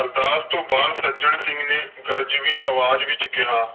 ਅਰਦਾਸ ਤੋਂ ਬਾਅਦ ਸੱਜਣ ਸਿੰਘ ਨੇ ਗਰਜਵੀਂ ਆਵਾਜ਼ ਵਿਚ ਕਿਹਾ।